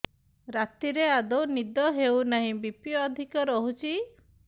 ରାତିରେ ଆଦୌ ନିଦ ହେଉ ନାହିଁ ବି.ପି ଅଧିକ ରହୁଛି